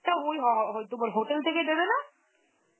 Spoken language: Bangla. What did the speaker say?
তো ওই হ~ হই তোমার hotel থেকে দেবে না?